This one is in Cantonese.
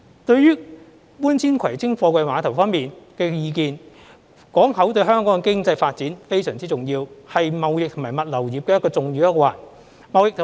對於搬遷葵青貨櫃碼頭方面的意見，港口對香港經濟發展非常重要，是貿易及物流業的重要一環。